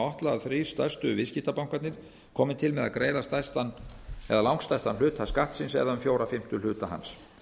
að þrír stærstu viðskiptabankarnir komi til með að greiða langstærsta hluta skattsins um fjóra fimmtu hluta hans